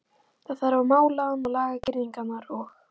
Það þarf að mála hann og laga girðingar og.